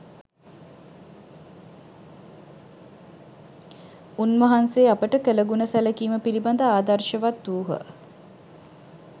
උන්වහන්සේ අපට කළ ගුණ සැලකීම පිළිබඳ ආදර්ශවත් වූහ